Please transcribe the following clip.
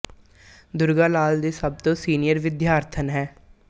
ਦੁਰਗਾ ਲਾਲ ਦੀ ਸਭ ਤੋਂ ਸੀਨੀਅਰ ਵਿਦਿਆਰਥਣ ਹੈ